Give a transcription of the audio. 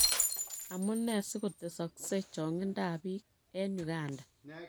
Amune si kotesokse chong'indab biik en Uganda?